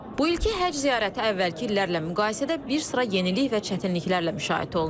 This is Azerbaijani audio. Bu ilki həcc ziyarəti əvvəlki illərlə müqayisədə bir sıra yenilik və çətinliklərlə müşayiət olunur.